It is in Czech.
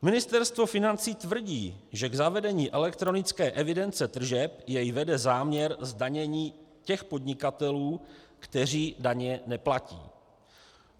Ministerstvo financí tvrdí, že k zavedení elektronické evidence tržeb jej vede záměr zdanění těch podnikatelů, kteří daně neplatí.